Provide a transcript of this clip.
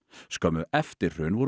skömmu eftir hrun voru